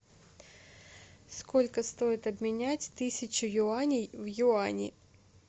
сколько стоит обменять тысячу юаней в юани